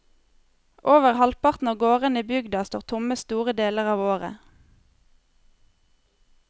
Over halvparten av gårdene i bygda står tomme store deler av året.